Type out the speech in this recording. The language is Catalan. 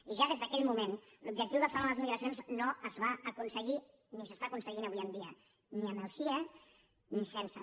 i ja des d’aquell moment l’objectiu de frenar les migracions no es va aconseguir ni s’està aconseguint avui en dia ni amb el cie ni sense